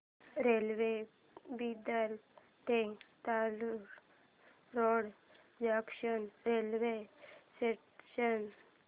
railway Bidar ते Latur road junction railway station